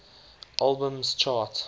albums chart